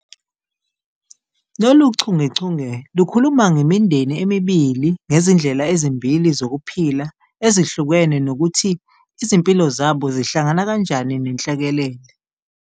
Lolu chungechunge lukhuluma ngemindeni emibili ngezindlela ezimbili zokuphila ezihlukene nokuthi izimpilo zabo zihlangana kanjani nenhlekelele.